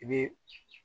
I bɛ